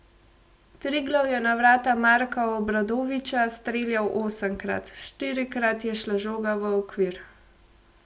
Triglav je na vrata Marka Obradovića streljal osemkrat, štirikrat je šla žoga v okvir.